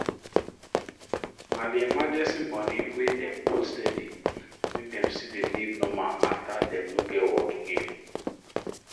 na the emergency money wey dem hold steady make dem still dey live normal after dem no get work again